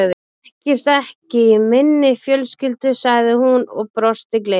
Það þekkist ekki í minni fjölskyldu sagði hún og brosti gleitt.